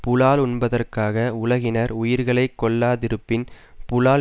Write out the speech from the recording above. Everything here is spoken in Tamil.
புலால் உண்பதற்காக உலகினர் உயிர்களை கொல்லாதிருப்பின் புலால்